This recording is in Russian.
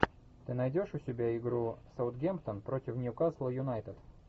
ты найдешь у себя игру саутгемптон против ньюкасла юнайтед